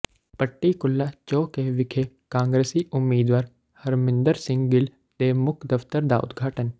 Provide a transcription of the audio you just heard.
ਪੱਟੀ ਕੁੱਲਾ ਚੌ ਕ ਵਿਖੇ ਕਾਂਗਰਸੀ ਉਮੀਦਵਾਰ ਹਰਮਿੰਦਰ ਸਿੰਘ ਗਿੱਲ ਦੇ ਮੁੱਖ ਦਫ਼ਤਰ ਦਾ ਉਦਘਾਟਨ